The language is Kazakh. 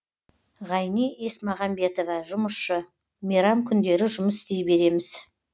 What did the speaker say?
ғайни есмағамбетова жұмысшы мейрам күндері жұмыс істей береміз